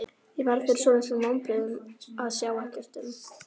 Ég varð fyrir svolitlum vonbrigðum að sjá ekkert um